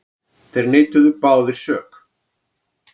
Þeir neituðu báðir sök.